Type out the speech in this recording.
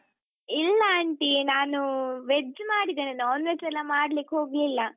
ಇಲ್ಲ aunty ನಾನೂ veg ಮಾಡಿದೆನೆ non veg ಎಲ್ಲ ಮಾಡ್ಲಿಕ್ಹೋಗ್ಲಿಲ್ಲ.